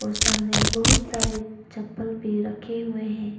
और सामने बहुत सारे चप्पल भी रखे हुए हैं।